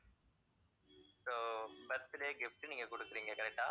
so birthday gift உ நீங்கக் கொடுக்கிறீங்க correct ஆ